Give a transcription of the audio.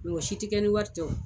si ti kɛ ni wari tɛ o.